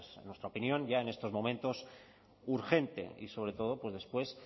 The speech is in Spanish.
pues en nuestra opinión ya en estos momentos urgente y sobre todo después